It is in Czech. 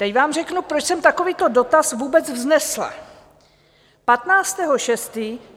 Teď vám řeknu, proč jsem takovýto dotaz vůbec vznesla.